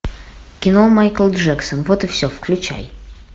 кино майкл джексон вот и все включай